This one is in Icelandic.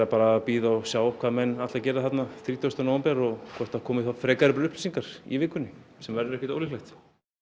bara að bíða og sjá hvað menn ætla að gera þrítugasta nóvember og hvort það komi frekari upplýsingar í vikunni sem verður ekki ólíklegt